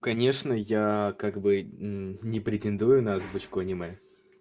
конечно я как бы не претендую на озвучку аниме